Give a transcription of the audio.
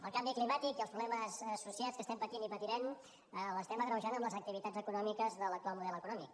el canvi climàtic i els problemes associats que estem patint i patirem l’estem agreujant amb les activitats econòmiques de l’actual model econòmic